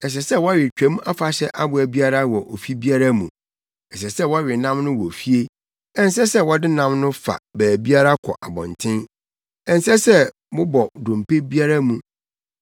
“Ɛsɛ sɛ wɔwe Twam Afahyɛ aboa biara wɔ ofi biara mu. Ɛsɛ sɛ wɔwe nam no wɔ fie. Ɛnsɛ sɛ wɔde nam no fa biara kɔ abɔnten. Ɛnsɛ sɛ mobɔ dompe biara mu.